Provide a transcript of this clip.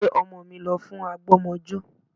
Gbé ọmọ mi lọ fún àgbọ́mọjó